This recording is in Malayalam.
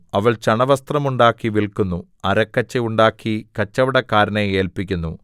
അവൾ ചണവസ്ത്രം ഉണ്ടാക്കി വില്ക്കുന്നു അരക്കച്ച ഉണ്ടാക്കി കച്ചവടക്കാരനെ ഏല്പിക്കുന്നു